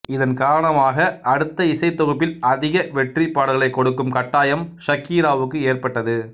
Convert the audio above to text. இதன் காரணமாக அடுத்த இசைத்தொகுப்பில் அதிக வெற்றிப் பாடல்களைக் கொடுக்கும் கட்டாயம் ஷக்கீராவுக்கு ஏற்பட்டது